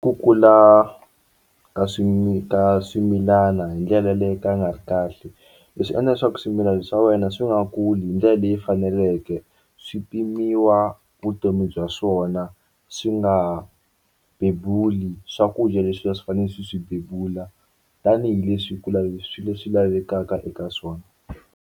Ku kula ka ka swimilana hi ndlela leyi yo ka yi nga ri kahle leswi endla leswaku swimilana swa wena swi nga kuli hi ndlela leyi faneleke swi pimiwa vutomi bya swona swi nga ha bebuli swakudya leswi a swi fanele swi swi bebula tanihileswi ku swi leswi lavekaka eka swona.